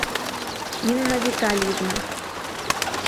инна витальевна